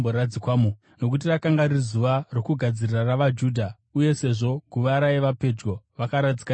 Nokuti rakanga riri zuva rokugadzirira ravaJudha, uye sezvo guva raiva pedyo, vakaradzika Jesu imomo.